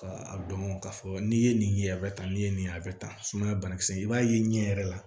Ka a dɔn k'a fɔ n'i ye nin ye a bɛ ta n'i ye nin ye a bɛ tan sumaya banakisɛ i b'a ye ɲɛ yɛrɛ la